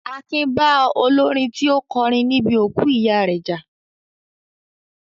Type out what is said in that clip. Akin bá olórin tí ó kọrin ní bi òkú ìyá rẹ jà